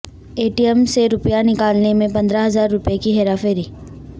اے T M سے روپیہ نکالنے میں پندرہ ہزاروپئے کی ہیراپھیری